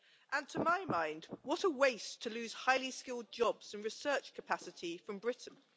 And, to my mind, what a waste to lose highly skilled jobs and research capacity from Britain.